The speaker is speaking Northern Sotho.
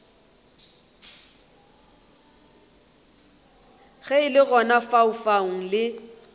ge le gona lefaufau le